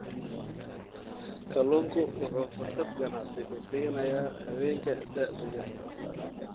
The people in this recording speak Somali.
Kalluunku wuxuu fursad ganacsi u siinayaa haweenka da'da yar.